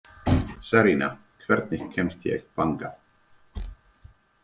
Sarína, hvernig kemst ég þangað?